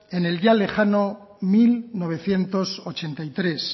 en el ya lejano mil novecientos ochenta y tres